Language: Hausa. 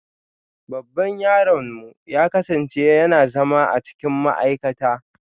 Babban yaronmu ya kasance yana zama a cikin ma'aikata